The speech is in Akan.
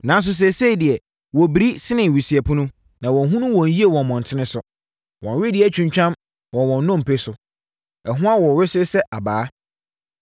Nanso, seesei deɛ, wɔbiri sene wisiapunu; na wɔnhunu wɔn yie wɔ mmɔntene so. Wɔn wedeɛ atwintwam wɔ wɔn nnompe so; ɛho awo wesee sɛ abaa.